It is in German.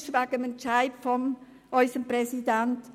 Es handelt sich um grosse Unterschiede.